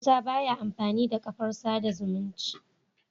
Musa baya amfani da kafar sada zumunci